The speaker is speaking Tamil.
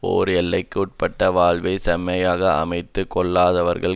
ஓர் எல்லைக்குட்பட்டு வாழ்வைச் செம்மையாக அமைத்து கொள்ளாதவர்கள்